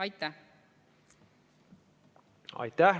Aitäh!